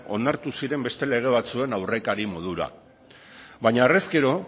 onartu ziren beste lelo batzuen aurrekari modura baina horrezkero